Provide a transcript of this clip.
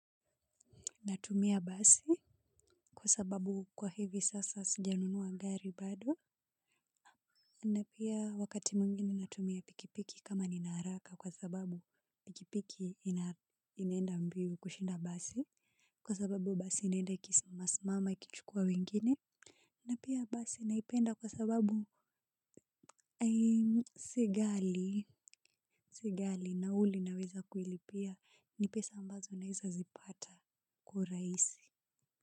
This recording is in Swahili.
Natumia basi kwa sababu kwa hivi sasa sijanunuwa gari bado. Na pia wakati mwingine natumia pikipiki kama nina haraka kwa sababu pikipiki inaenda mbio kushinda basi. Kwa sababu basi inaenda ikisimamasimama ikichukua wengine. Na pia basi naipenda kwa sababu si gali nauli naweza kulipia ni pesa ambazo naeza zipata. Kwa urahisi.